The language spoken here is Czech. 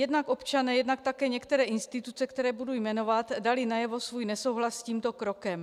Jednak občané, jednak také některé instituce, které budu jmenovat, dali najevo svůj nesouhlas s tímto krokem.